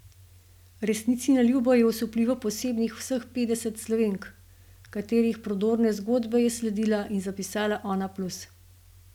Resnici na ljubo je osupljivo posebnih vseh petdeset Slovenk, katerih prodorne zgodbe je sledila in zapisala Onaplus.